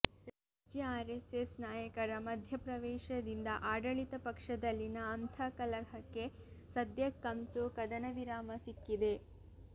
ರಾಜ್ಯ ಆರೆಸ್ಸೆಸ್ ನಾಯಕರ ಮಧ್ಯಪ್ರವೇಶದಿಂದ ಆಡಳಿತ ಪಕ್ಷದಲ್ಲಿನ ಅಂತಃಕಲಹಕ್ಕೆ ಸದ್ಯಕ್ಕಂತೂ ಕದನವಿರಾಮ ಸಿಕ್ಕಿದೆ